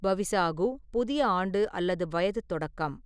பவிசாகு புதிய ஆண்டு அல்லது வயது தொடக்கம்.